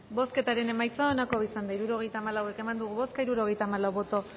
bozketaren emaitza onako izan da hirurogeita hamalau eman dugu bozka hirurogeita hamalau boto